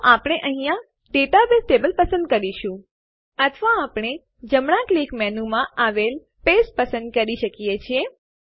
તો આપણે અહીંયા ડેટાબેઝ ટેબલ પસંદ કરીશું અથવા આપણે જમણાં ક્લિક મેનુમાં આવેલ પાસ્તે પસંદ કરી શકીએ છીએ